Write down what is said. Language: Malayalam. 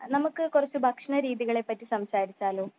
നമ്മുക്ക് കുറച്ച് ഭക്ഷണ രീതികളെ പറ്റി സംസാരിച്ചാലോ